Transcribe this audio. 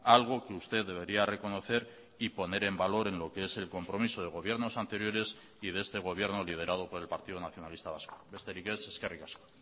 algo que usted debería reconocer y poner en valor en lo que es el compromiso de gobiernos anteriores y de este gobierno liderado por el partido nacionalista vasco besterik ez eskerrik asko